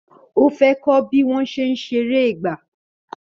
Ó fẹ́ kọ́ bí wọ́n ṣe ń ṣeré ìgbà